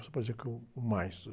Não se pode dizer que é o, o mais.